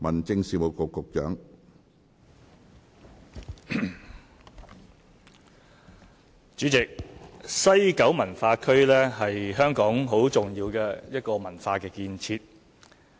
主席，西九文化區是香港很重要的一個文化建設。